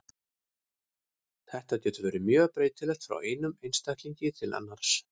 Þetta getur verið mjög breytilegt frá einum einstaklingi til annars.